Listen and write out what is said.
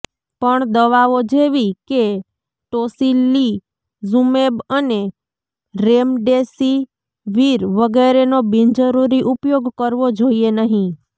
પણ દવાઓ જેવી કે ટોસિલિઝુમેબ અને રેમડેસિવિર વગેરેનો બિનજરૂરી ઉપયોગ કરવો જોઈએ નહીં